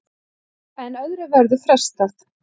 En öðru verður frestað.